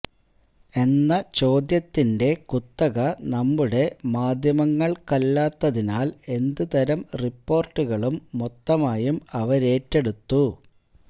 എന്ന ചോദ്യത്തിന്റെ കുത്തക നമ്മുടെ മാധ്യമങ്ങൾക്കല്ലാത്തതിനാൽ എന്തുതരം റിപ്പോർട്ടുകളും മൊത്തമായും അവരേറ്റെടുത്തു